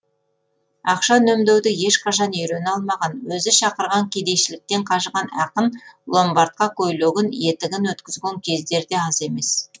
ақша үнемдеуді ешқашан үйрене алмаған өзі шақырған кедейшіліктен қажыған ақын ломбардқа көйлегін етігін өткізген кездер де аз емес